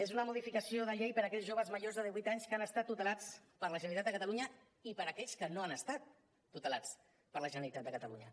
és una modificació de llei per a aquells joves majors de divuit anys que han estat tutelats per la generalitat de catalunya i per a aquells que no han estat tutelats per la generalitat de catalunya